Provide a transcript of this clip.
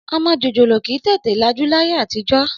Ọmọ jòjòló kì í tètè lajú láyé àtijọ́.